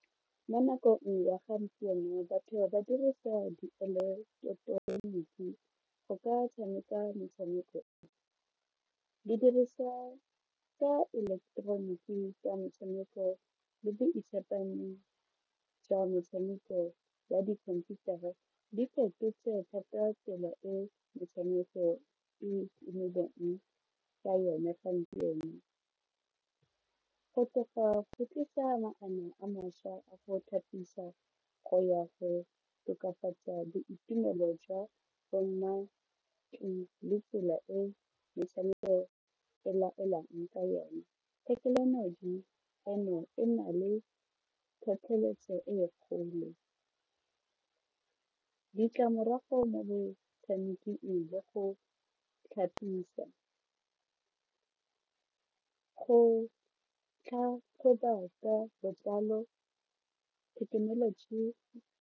Mo nakong ya gompieno batho ba dirisa dieleketeroniki go ka tshameka metshameko , didiriswa tsa eleketeroniki tsa metshameko le tsa metshameko ya dikhomputara di fetotse thata tsela e metshameko e ka yone gompieno, go tla go tlisa maano a mašwa a go go ya go tokafatsa boitumelo jwa go nna le tsela e metshameko e laolang ka yone, thekenoloji eno e na le tlhotlheletso e kgolo, ditlamorago mo botshameking go tla thekenoloji.